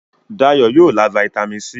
Dayo yóò lá Vitamin c.